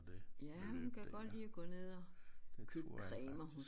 Ja hun kan godt lide at ned og købe cremer